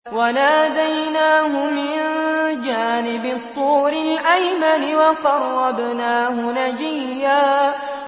وَنَادَيْنَاهُ مِن جَانِبِ الطُّورِ الْأَيْمَنِ وَقَرَّبْنَاهُ نَجِيًّا